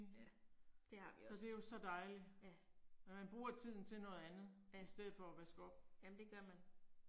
Ja. Det har vi også. Ja. Ja. Jamen det gør man